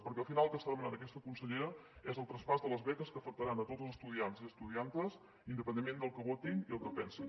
perquè al final el que està demanant aquesta consellera és el traspàs de les be·ques que afectaran a tots els estudiants i estudiantes independentment del que votin i del que pensin